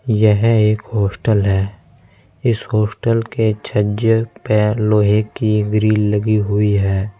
यह एक हॉस्टल है इस हॉस्टल के छज्जे पे लोहे की ग्रिल लगी हुई है।